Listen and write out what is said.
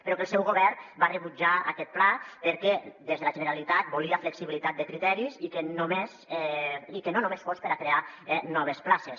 però que el seu govern va rebutjar aquest pla perquè des de la generalitat volia flexibilitat de criteris i que no només fos per a crear noves places